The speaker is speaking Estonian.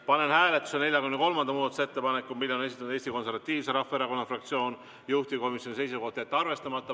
Panen hääletusele 43. muudatusettepaneku, mille on esitanud Eesti Konservatiivse Rahvaerakonna fraktsioon, juhtivkomisjoni seisukoht on jätta see arvestamata.